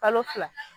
Kalo fila